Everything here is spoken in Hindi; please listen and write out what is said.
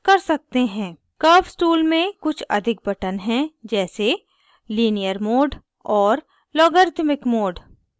curves tool में कुछ अधिक buttons हैं जैसे linear mode और logarithmic mode